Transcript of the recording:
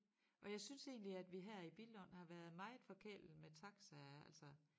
Og jeg synes egentlig at vi her i Billund har været meget forkælede med taxaer altså